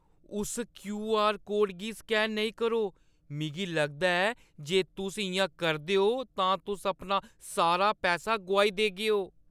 उस क्यू.आर.कोड गी स्कैन नेईं करो। मिगी लगदा ऐ जे जे तुस इ'यां करदे ओ, तां तुस अपना सारा पैसा गोआई देगेओ।